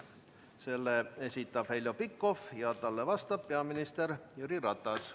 Selle esitab Heljo Pikhof ja talle vastab peaminister Jüri Ratas.